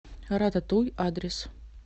рататуй адрес